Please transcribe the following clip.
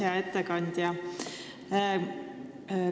Hea ettekandja!